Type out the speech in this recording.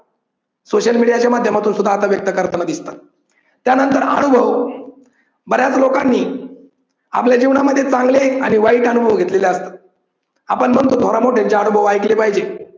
Social मीडियाच्या माध्यमातून सुद्धा आता जास्त करताना दिसतात. त्यानंतर अनुभव बऱ्याच लोकांनी आपल्या जीवनामध्ये चांगले आणि वाईट अनुभव घेतलेले असतात. आपण म्हणतो थोरामोठ्यांचे अनुभव ऐकले पाहिजेत.